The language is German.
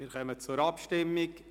Wir kommen zur Abstimmung.